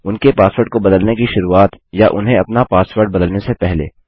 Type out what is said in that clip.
उनके पासवर्ड को बदलने की शुरूआत या उन्हें अपना पासवर्ड बदलने से पहले